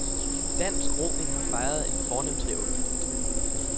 Dansk roning har fejret en fornem triumf.